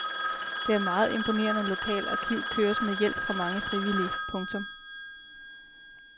Det meget imponerende lokale arkiv køres med hjælp fra mange frivillige. punktum